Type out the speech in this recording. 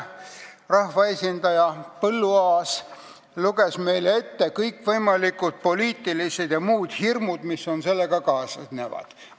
Rahvaesindaja Põlluaas luges meile ette kõikvõimalikud poliitilised ja muud hirmud, mis selle eelnõuga kaasnevad.